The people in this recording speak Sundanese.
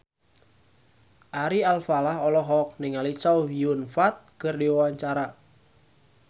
Ari Alfalah olohok ningali Chow Yun Fat keur diwawancara